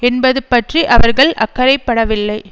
என்பது பற்றி அவர்கள் அக்கறைப்படவில்லை